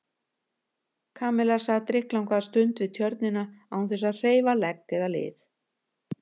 Kamilla sat drykklanga stund við Tjörnina án þess að hreyfa legg eða lið.